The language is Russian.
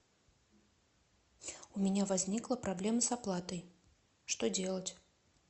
у меня возникла проблема с оплатой что делать